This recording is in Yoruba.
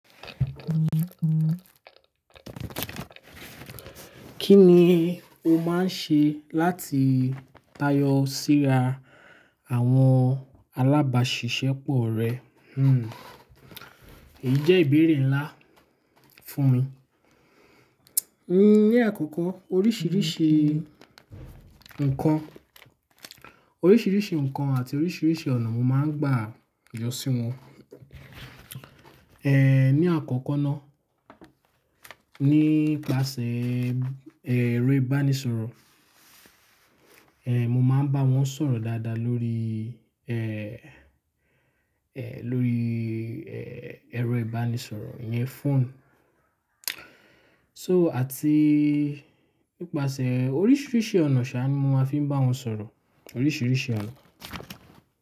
Kí ni o máa ń ṣe láti tayọ síra àwọn alábàáṣiṣẹ́ pọ̀ rẹ? Hmm. Èyí jẹ́ ìbéèrè ńlá fún mi. Ni àkọ́kọ́ oríṣiríṣi nǹkan, oríṣiríṣi nǹkan àti oríṣiríṣi ọ̀nà mo máa ń gbà yọ sí wọn. Ni àkọ́kọ́ ná, nípasẹ̀ ẹ̀rọ ìbánisọ̀rọ̀. Mo máa ń bá wọn sọ̀rọ̀ dáadáa lórí lórí ẹ̀rọ ìbánisọ̀rọ̀ iyẹn fóònù. So àti nípasẹ̀ oríṣiríṣi ọ̀nà ṣa mo a fi ń bá wọn sọ̀rọ̀, oríṣiríṣi ọ̀nà.